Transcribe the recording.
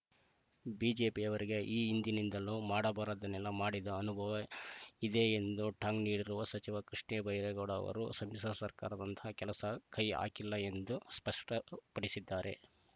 ಬಿಜೆಪಿಯವರಿಗೆ ಈ ಹಿಂದಿನಿಂದಲೂ ಮಾಡಬಾರದ್ದನ್ನೆಲ್ಲಾ ಮಾಡಿದ ಅನುಭವ ಇದೆ ಎಂದು ಟಾಂಗ್‌ ನೀಡಿರುವ ಸಚಿವ ಕೃಷ್ಣಬೈರೇಗೌಡ ಅವರು ಸಮ್ಮಿಶ್ರ ಸರ್ಕಾರ ಅಂತಹ ಕೆಲಸಕ್ಕೆ ಕೈಹಾಕಿಲ್ಲ ಎಂದು ಸ್ಪಷ್ಟಪಡಿಸಿದ್ದಾರೆ